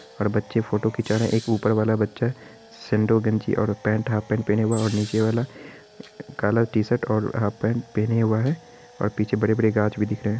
और बच्चे फोटो खीचा रहे हैं| एक ऊपर वाला बच्चा सेंडो गंजी और एक पेंट हाफ पेंट पहना हुआ है और नीचे वाला कला टी-शर्ट और हाफ पेंट पहना हुआ है और पीछे बड़े-बड़े गाछ भी दिख रहे हैं।